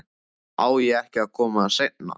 Á ég ekki að koma seinna?